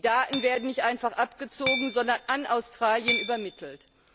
Die Daten werden nicht einfach abgezogen, sondern an Australien übermittelt.